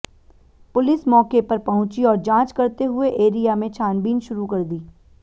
police मौके पर पहुंची और जांच करते हुए एरिया में छानबीन शुरू कर दी